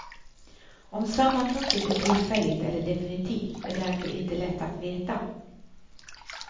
Om sammanbrottet är tillfälligt eller definitivt är därför inte lätt att veta.